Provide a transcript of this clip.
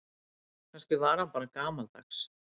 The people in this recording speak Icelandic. Kannski var hann bara gamaldags.